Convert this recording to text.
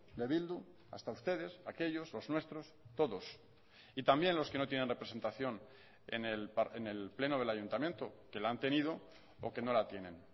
de bildu hasta ustedes aquellos los nuestros todos y también los que no tienen representación en el pleno del ayuntamiento que la han tenido o que no la tienen